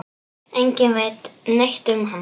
Enginn veit neitt um hann.